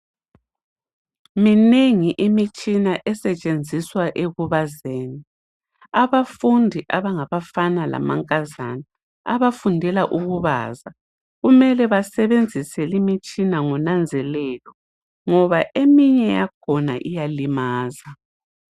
Minengi imitshina esetshenziswa ekubazeni abafundi abangababafana lamankazana abafundela ukubaza kumele basebenzise limitshina ngonanzelelo ngoba eminye yakhona iyalimaza